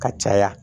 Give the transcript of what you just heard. Ka caya